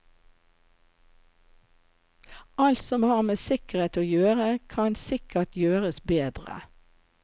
Alt som har med sikkerhet å gjøre kan sikkert gjøres bedre.